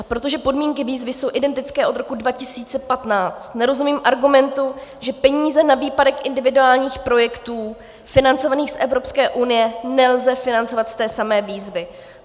A protože podmínky výzvy jsou identické od roku 2015, nerozumím argumentu, že peníze na výpadek individuálních projektů financovaných z Evropské unie nelze financovat z té samé výzvy.